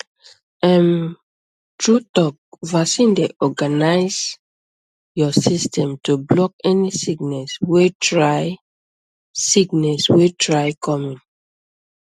ehm true talk vaccine dey organize your system to block any sickness wey try sickness wey try come in